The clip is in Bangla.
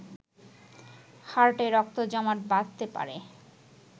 হার্টে রক্ত জমাট বাঁধতে পারে